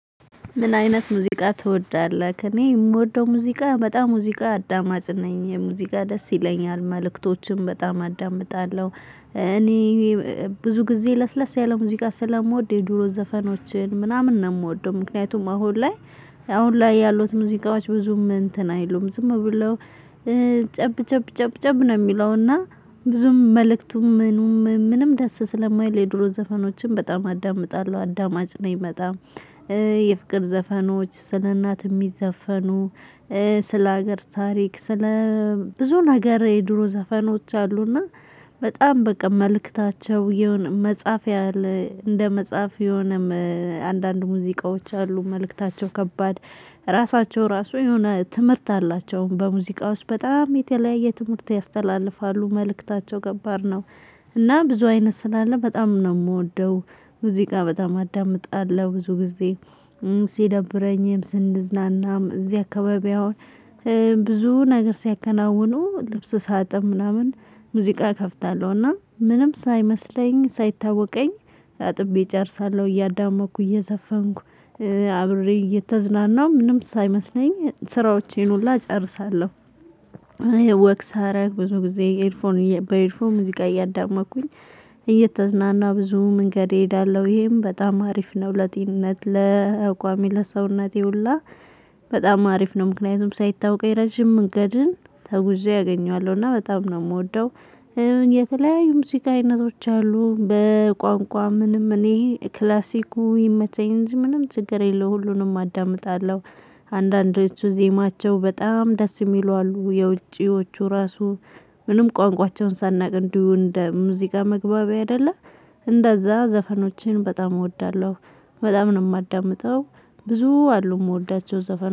ምን አይነት ሙዚቃ ትወዳለህ? እኔ የምወደው ሙዚቃ በጣም ሙዚቃ አዳማጭ ነኝ የሙዚቃ ደስ ይለኛል መልእክቶችን በጣም አዳምጣለሁ። እኔ ብዙ ጊዜ ለስለስ ያለ ሙዚቃ ስለምወድ የድሮ ዘፈኖችን ምናምን ነው የምወደው። ምክንያቱም አሁን ላይ አሁን ላይ ያሉት ሙዚቃዎች ብዙም እንትን አይሉም። ዝም ብለው ጨብ ጨብ ጨብ ጨብ ነው የሚለው እና። ብዙም መልእክቱም ምኑም ምንም ደስ ስለማይል የድሮ ዘፈኖችን በጣም አዳምጣለሁ አዳማጭ ነኝ። በጣም የፍቅር ዘፈኖች ስለ እናት የሚዘፈኑ። ስለ ሀገር ታሪክ ስለ ብዙ ነገር የድሮ ዘፈኖች አሉ። እና በጣም በቃ መልእክታቸው የሆነ መጽሐፍ ያለ እንደ መጽሐፍ የሆነ አንዳንድ ሙዚቃዎች አሉ። መልእክታቸው ከባድ ራሳቸው ራሱ የሆነ ትምህርት አላቸው። በሙዚቃ ውስጥ በጣም የተለያየ ትምህርት ያስተላልፋሉ። መልእክታቸው ከባድ ነው። እና ብዙ አይነት ስላለ በጣም ነው የምወደው። ሙዚቃ በጣም አዳምጣለሁ ብዙ ጊዜ። ሲደብረኝም ስንዝናናም እዚህ አካባቢ አሁን ብዙ ነገር ሲያከናውኑ ልብስ ሳጥብ ምናምን ሙዚቃ እከፍታለሁ። እና ምንም ሳይመስለኝ ሳይታወቀኝ አጥቤ እጨርሳለሁ እያዳመጥኩ እየዘፈንኩ አብሬ እየተዝናናሁ ምንም ሳይመስለኝ ስራዎቼን ሁላ እጨርሳለሁ። ወክ ሳረግ ብዙ ጊዜ ኤርፎን በኤርፎን ሙዚቃ እያዳመጥኩኝ እየተዝናናው ብዙ መንገድ እሄዳለሁ ይሄም በጣም አሪፍ ነው። ለጤንነት ለአቋሜ ለሰውነቴ ሁላ በጣም አሪፍ ነው። ምክንያቱም ሳይታወቀኝ ረጅም መንገድን ተጉዤ አገኘዋለሁ እና በጣም ነው የምወደው። የተለያዩ ሙዚቃ አይነቶች አሉ በቋንቋ ምንም እኔ ክላሲኩ ይመቸኝ እንጂ ምንም ችግር የለውም ሁሉንም አዳምጣለሁ። አንዳንዶቹ ዜማቸው በጣም ደስ የሚሉ አሉ። የውጪዎቹ ራሱ ምንም ቋንቋቸውን ሳናቅ እንዲሁ እንደ ሙዚቃ መግባቢያ አይደለ። እንደዛ ዘፈኖችን በጣም እወዳለሁ። በጣም ነው የማዳምጠው ብዙ አሉ የምወዳቸው ዘፈን